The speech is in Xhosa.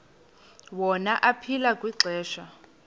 wona aphila kwixesha